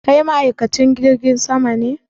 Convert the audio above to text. Kai ma'aikacin jirgin sama ne?